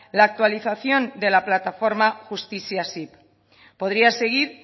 la actualización de la plataforma justiziasip podría seguir